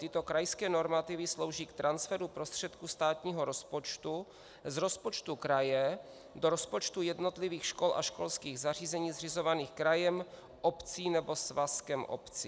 Tyto krajské normativy slouží k transferu prostředků státního rozpočtu z rozpočtu kraje do rozpočtu jednotlivých škol a školských zařízení zřizovaných krajem, obcí nebo svazkem obcí.